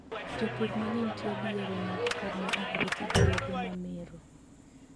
Jopur mang'eny tiyo gi yore mag pur ma ok ti gi yedhe mamero.